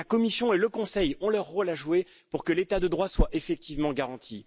La Commission et le Conseil ont leur rôle à jouer pour que l'état de droit soit effectivement garanti.